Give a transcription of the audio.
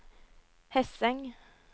Hesseng